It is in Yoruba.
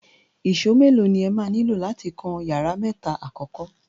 Ìṣó mélòó ni ẹ máa nílò láti kan yàrá mẹ́ta àkọ́kọ́?